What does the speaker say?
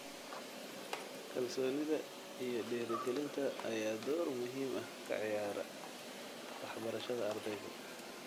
Kalsoonida iyo dhiirigelinta ayaa door muhiim ah ka ciyaara waxbarashada ardayga.